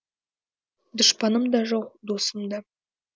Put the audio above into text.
дұшпаным да жоқ досым да